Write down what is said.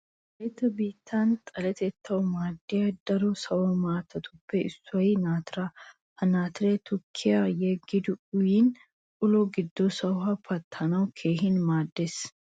Wolaytta biittan xaletettawu maaddiya darkko sawo maatatuppe issoy naatiraa. Ha naatiray tukkiyan yeggidi uyikko ulo giddo sahuwa pattanawu keehin maaddees.